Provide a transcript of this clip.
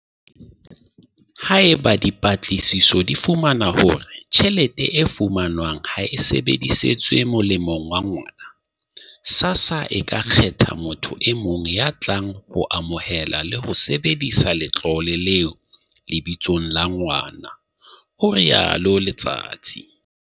"Haeba dipatlisiso di fumana hore tjhelete e fumanwang ha e sebedisetswe molemong wa ngwana, SASSA e ka kgetha motho e mong ya tlang ho amohela le ho sebedisa letlole leo lebitsong la ngwana," ho rialo Letsatsi.